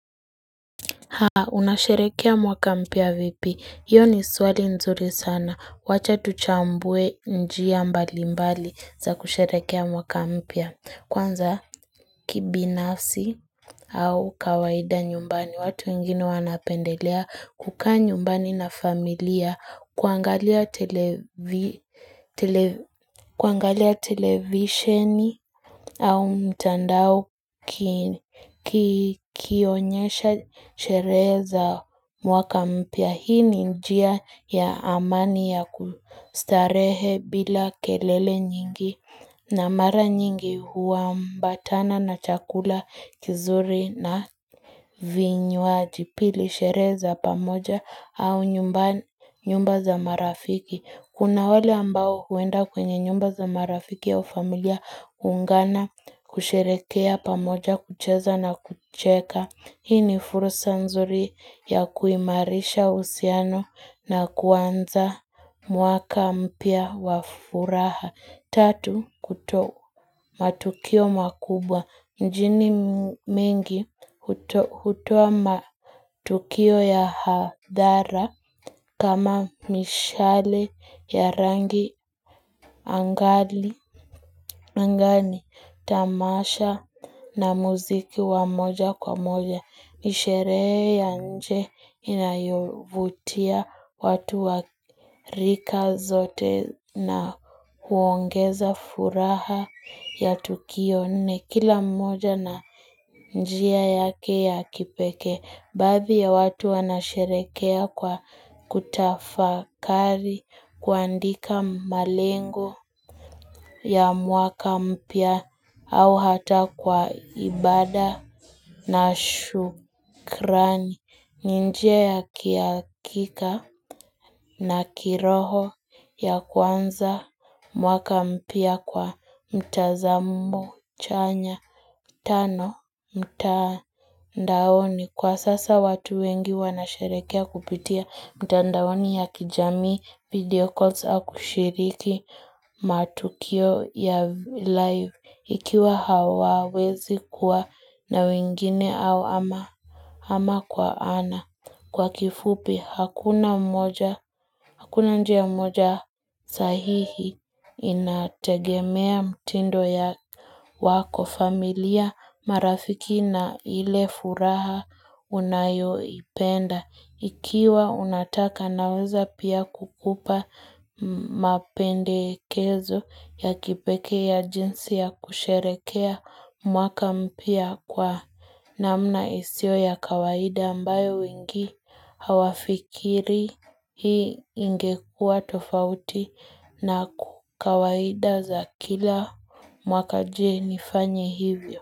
Haa, unasherehekea mwaka mpya vipi? Hiyo ni swali nzuri sana. Wacha tuchambue njia mbalimbali za kusherehekea mwaka mpya. Kwanza kibinafsi au kawaida nyumbani. Watu wengine wanapendelea kukaa nyumbani na familia kuangalia televisioni au mtandao kionyesha sherehe za mwaka mpya. Hii ni njia ya amani ya kustarehe bila kelele nyingi na mara nyingi huambatana na chakula kizuri na vinywaji. Pili sherehe za pamoja au nyumba za marafiki. Kuna wale ambao huenda kwenye nyumba za marafiki au familia kuungana, kusherehekea pamoja, kucheza na kucheka. Hii ni fursa nzuri ya kuimarisha uhusiano na kuanza mwaka mpya wa furaha. Tatu kutoa matukio makubwa. Mijini mingi hutoa matukio ya hadhara kama mishale ya rangi angani, tamasha na muziki wa moja kwa moja. Ni sherehe ya nje inayovutia watu wa rika zote na huongeza furaha ya tukio. Nne kila mmoja na njia yake ya kipekee. Baadhi ya watu wanasherehekea kwa kutafakari, kuandika malengo ya mwaka mpya au hata kwa ibada na shukrani. Ni njia ya kihakika na kiroho ya kuanza mwaka mpya kwa mtazamo chanya. Tano mtandaoni. Kwa sasa watu wengi wanasherehekea kupitia mtandaoni ya kijamii, video calls au kushiriki matukio ya live. Ikiwa hawawezi kuwa na wengine au ama kwa ana. Kwa kifupi, hakuna njia moja sahihi, inategemea mtindo ya wako familia marafiki na ile furaha unayoipenda. Ikiwa unataka naweza pia kukupa mapendekezo ya kipekee ya jinsi ya kusherehekea mwaka mpya kwa namna isiyo ya kawaida ambayo wengi hawafikirii. Hii ingekua tofauti na kawaida za kila mwaka. Je nifanye hivyo?